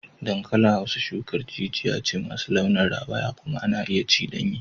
Dankalin Hausa shukar jijiya ce masu launin rawaya kuma ana iya ci danye.